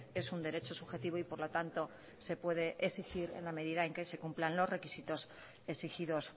es un derecho subjetivo y por lo tanto se puede exigir en la medida en que se cumplan los requisitos exigidos